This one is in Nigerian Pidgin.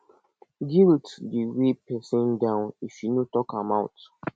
guilt dey weigh person down if you no talk am out